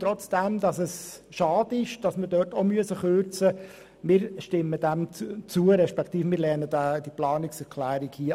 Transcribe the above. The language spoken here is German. Obwohl es schade ist, dass wir dort kürzen müssen, stimmen wir dieser Kürzung zu beziehungsweise lehnen diese Planungserklärung ab.